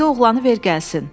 indi oğlanı ver gəlsin.